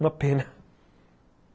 Uma pena.